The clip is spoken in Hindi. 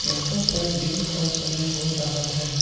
यहां पर दिन का समय हो रहा है।